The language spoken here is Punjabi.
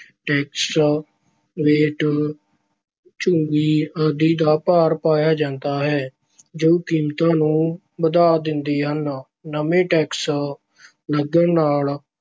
ਟੈਕਸ, ਵੈਟ, ਚੁੰਗੀ ਆਦਿ ਦਾ ਭਾਰ ਪਾਇਆ ਜਾਂਦਾ ਹੈ ਜੋ ਕੀਮਤਾਂ ਨੂੰ ਵਧਾ ਦਿੰਦੇ ਹਨ। ਨਵੇਂ ਟੈਕਸ ਲੱਗਣ ਨਾਲ